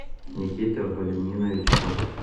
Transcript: никита валентинович котов